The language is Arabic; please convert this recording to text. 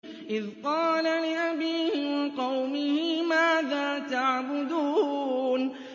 إِذْ قَالَ لِأَبِيهِ وَقَوْمِهِ مَاذَا تَعْبُدُونَ